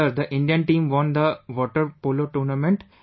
Sir, the Indian team won the Water Polo tournament